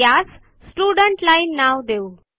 यास student line नाव देऊ